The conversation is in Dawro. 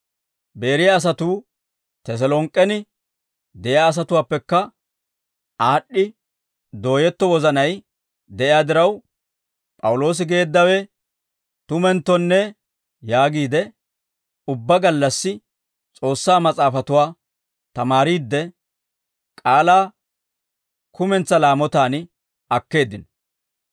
Beeriyaa asatuu Teselonk'k'en de'iyaa asatuwaappekka aad'd'i dooyetto wozanay de'iyaa diraw, «P'awuloosi geeddawe tumenttonne» yaagiide, ubbaa gallassi S'oossaa Mas'aafatuwaa tamaariidde, k'aalaa kumentsaa laamotaan akkeeddino.